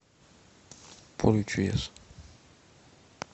поле чудес